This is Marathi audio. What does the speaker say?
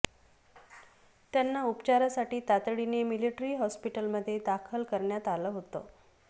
त्यांना उपचारासाठी तातडीने मिलिटरी हॉस्पिटलमध्ये दाखल करण्यात आलं होतं